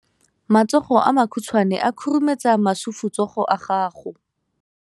Matsogo a makhutshwane a khurumetsa masufutsogo a gago.